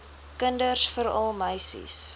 kinders veral meisies